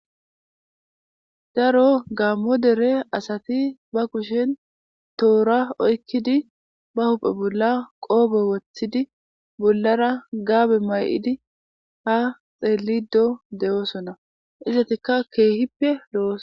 Daro gaammo dere asati ba kushen toora oykkidi ba huphe bolla qoobo woththidi bollara gaabe may'idi ha xeelido de'oosona izatikka keehippe lo'os.